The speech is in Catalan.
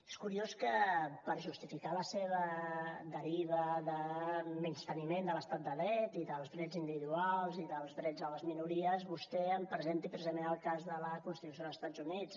és curiós que per justificar la seva deriva de menysteniment de l’estat de dret i dels drets individuals i dels drets a les minories vostè em presenti precisament el cas de la constitució d’estats units